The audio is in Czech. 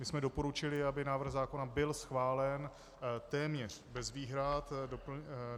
My jsme doporučili, aby návrh zákona byl schválen téměř bez výhrad.